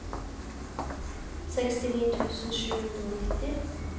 sekstini tusen sju hundre og nitti